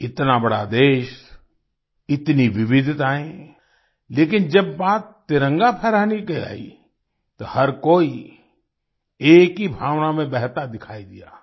इतना बड़ा देश इतनी विविधताएं लेकिन जब बात तिरंगा फहराने की आई तो हर कोई एक ही भावना में बहता दिखाई दिया